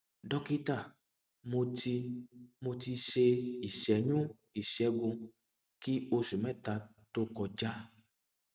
dókítà mo ti mo ti ṣe ìṣẹyún ìṣègùn kí oṣù mẹta tó kọjá